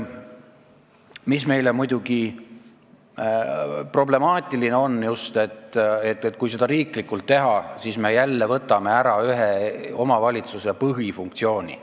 Samas on meile muidugi problemaatiline, et kui seda riiklikult teha, siis me jälle võtame ära ühe omavalitsuse põhifunktsiooni.